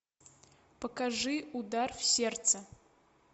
покажи удар в сердце